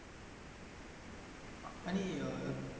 आणि अं